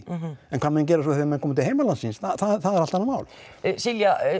en hvað menn gera svo þegar þeir koma til heimalandsins er annað mál Silja